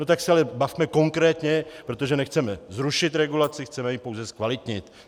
No tak se ale bavme konkrétně, protože nechceme zrušit regulaci, chceme ji pouze zkvalitnit.